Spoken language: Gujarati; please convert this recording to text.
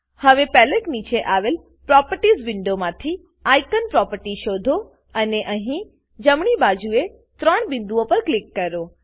હવે પેલેટ નીચે આવેલ પ્રોપર્ટીઝ પ્રોપર્ટીઝ વિન્ડોમાંથી આઇકોન આઇકોન પ્રોપર્ટી શોધો અને અહીં જમણી બાજુએ આવેલ 3 બિંદુઓ પર ક્લિક કરો